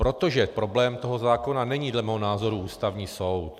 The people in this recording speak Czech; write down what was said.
Protože problém toho zákona není dle mého názoru Ústavní soud.